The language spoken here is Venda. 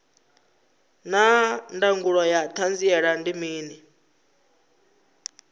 naa ndangulo ya hanziela ndi mini